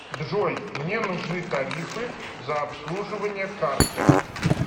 джой мне нужны тарифы за обслуживание карты